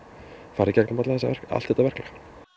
fara í gegnum allt þetta verklag